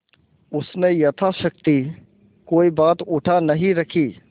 उसने यथाशक्ति कोई बात उठा नहीं रखी